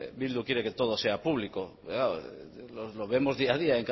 bildu quiere que todo sea público pero claro lo vemos día a día